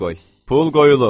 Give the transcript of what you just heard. Pul qoyulub.